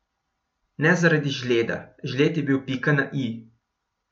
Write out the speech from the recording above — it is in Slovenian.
Ne zaradi žleda, žled je bil pika na i.